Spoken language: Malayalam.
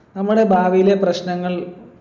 നമ്മുടെ ഭാവിലെ പ്രശ്നങ്ങൾ